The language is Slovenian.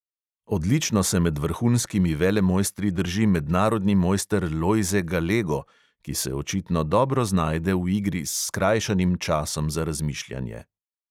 Odlično se med vrhunskimi velemojstri drži mednarodni mojster lojze galego, ki se očitno dobro znajde v igri s skrajšanim časom za razmišljanje.